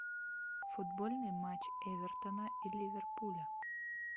футбольный матч эвертона и ливерпуля